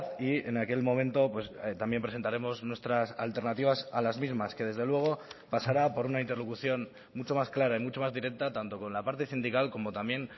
y en aquel momento también presentaremos nuestras alternativas a las mismas que desde luego pasará por una interlocución mucho más clara y mucho más directa tanto con la parte sindical como también